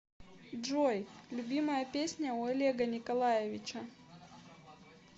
джой любимая песня у олега николаевича